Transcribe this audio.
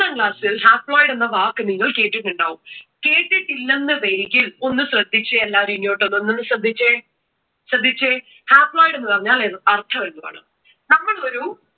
ഒമ്പതാം ക്ലാസ്സിൽ haploid എന്ന വാക്ക് നിങ്ങൾ കേട്ടിട്ടുണ്ടാവും. കേട്ടിട്ടില്ലന്നുവരികിൽ ഒന്ന് ശ്രദ്ധിച്ചേ എല്ലാരും ഇങ്ങോട്ടൊന്ന്~ഒന്ന് ശ്രദ്ധിച്ചേ. ശ്രദ്ധിച്ചേ. Haploid എന്ന് പറഞ്ഞാൽ ഏത്~അർഥം എന്താണ്? നമ്മൾ ഒരു